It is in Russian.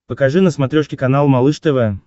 покажи на смотрешке канал малыш тв